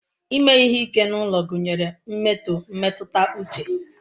Ime ihe ike n'ime ulo gunyere mmeto mmetuta uche.